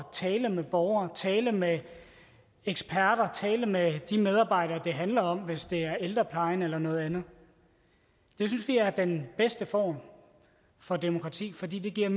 tale med borgere tale med eksperter og tale med de medarbejdere det handler om hvis det er ældreplejen eller noget andet det synes vi er den bedste form for demokrati fordi det giver